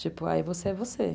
Tipo, aí você é você.